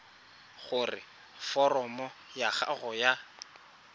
gore foromo ya gago ya